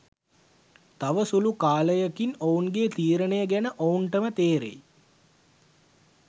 තව සුළු කාලයකින් ඔවුන්ගේ තීරණය ගැන ඔවුන්ටම තේරෙයි